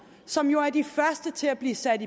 som jo er de første til at blive sat